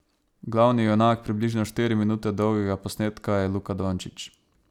Glavni junak približno štiri minute dolgega posnetka je Luka Dončić.